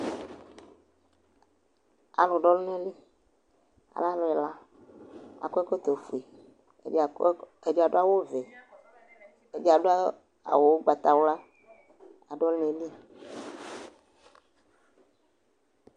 alʊdũ ɔlunali alẽ alʊel akũekɔtɔ fue edi kɔ akɔǝkɔtɔ fue edi kɔ edidu awuvẽ ediadu awu ɔgbata wluaadu ɔluneli